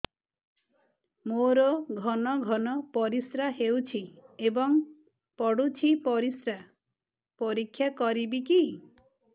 ମୋର ଘନ ଘନ ପରିସ୍ରା ହେଉଛି ଏବଂ ପଡ଼ୁଛି ପରିସ୍ରା ପରୀକ୍ଷା କରିବିକି